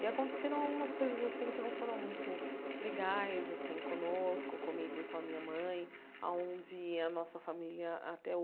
E aconteceram algumas coisas assim que não foram muito legais, assim, conosco, comigo e com a minha mãe, aonde a nossa família até